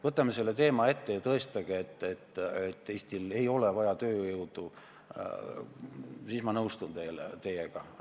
Võtame selle teema ette ja tõestage ära, et Eestil ei ole vaja lisatööjõudu, siis ma nõustun teiega.